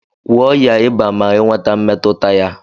Gwọ ọya ịba ma inweta mmetuta ya!!